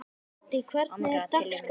Doddý, hvernig er dagskráin?